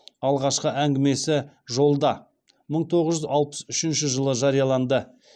алғашқы әңгімесі жолда мың тоғыз жүз алпыс үшінші жылы жарияланды